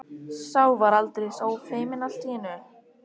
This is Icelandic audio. Sá var aldeilis ófeiminn allt í einu!